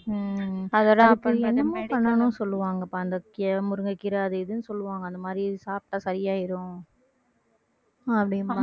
உம் என்னமோ பண்ணணுன்னு சொல்லுவாங்கப்பா முருங்கைக்கீரை அது இதுன்னு சொல்லுவாங்க அந்த மாதிரி சாப்பிட்டா சரி ஆயிடும் அப்படிம்பாங்க